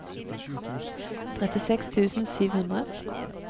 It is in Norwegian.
trettiseks tusen sju hundre